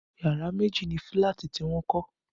Yàrá méjì ni fílàtì tí wọ́n kọ́